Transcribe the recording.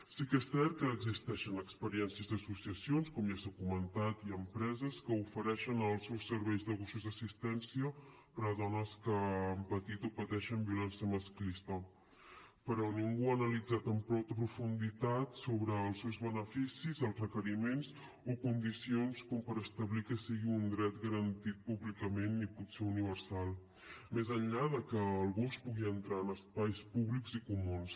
sí que és cert que existeixen experiències i associacions com ja s’ha comentat i empreses que ofereixen els seus serveis de gossos d’assistència per a dones que han patit o pateixen violència masclista però ningú ha analitzat amb prou profunditat els seus beneficis els requeriments o condicions com per establir que sigui un dret garantit públicament i potser universal més enllà de que el gos pugui entrar en espais públics i comuns